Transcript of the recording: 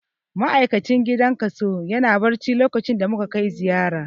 Ma'aikacin gidan kaso yana barci lokacin da muka kai ziyara.